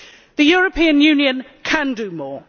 The European Union can do more.